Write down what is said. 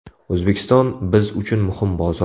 O‘zbekiston – biz uchun muhim bozor.